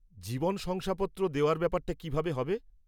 জীবন শংসাপত্র দেওয়ার ব্যাপারটা কিভাবে হবে?